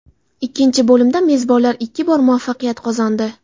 Ikkinchi bo‘limda mezbonlar ikki bor muvaffaqiyat qozondi.